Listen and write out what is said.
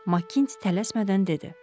Makkinti tələsmədən dedi.